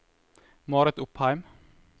Marit Opheim